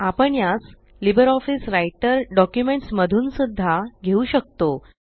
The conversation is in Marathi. आपण यास लिबर ऑफीस राइटर डॉक्युमेंट्स मधून सुद्धा घेऊ शकतो